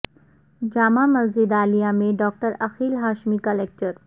جامع مسجد عالیہ میں ڈاکٹر عقیل ہاشمی کا لکچر